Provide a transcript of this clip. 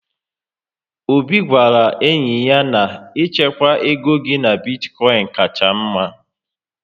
Obi gwara enyi ya na Ị chekwaa égo gị na bitkoin kacha mma